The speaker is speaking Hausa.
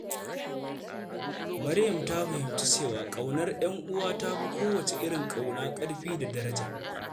Maryam ta fahimci cewa ƙaunar ‘yan uwa ta fi kowace irin ƙauna ƙarfi da daraja.